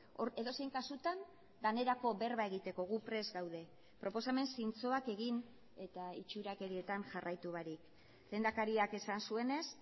hor edozein kasutan danerako berba egiteko gu prest gaude proposamen zintzoak egin eta itxurakerietan jarraitu barik lehendakariak esan zuenez